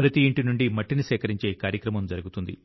ప్రతి ఇంటి నుండి మట్టిని సేకరించే కార్యక్రమం జరుగుతుంది